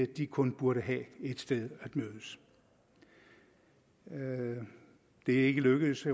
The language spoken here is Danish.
de kun burde have et sted at mødes det er ikke lykkedes